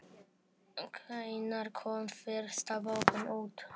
Hvenær kom fyrsta bókin út?